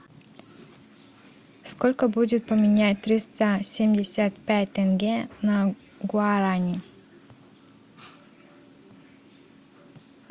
сколько будет поменять триста семьдесят пять тенге на гуарани